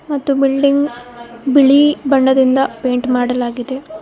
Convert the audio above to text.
ಮತ್ತು ಬಿಲ್ಡಿಂಗ್ ಬಿಳಿ ಬಣ್ಣದಿಂದ ಪೈಂಟ್ ಮಾಡಲಾಗಿದೆ.